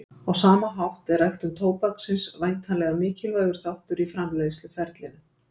Á sama hátt er ræktun tóbaksins væntanlega mikilvægur þáttur í framleiðsluferlinu.